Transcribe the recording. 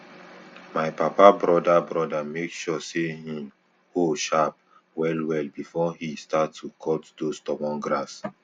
my papa broda broda make sure say hin hoe sharp well well before he start to cut those stubborn grass